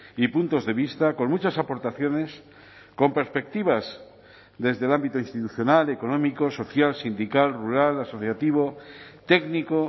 y puntos de vista con muchas aportaciones con perspectivas desde el ámbito institucional económico social sindical rural asociativo técnico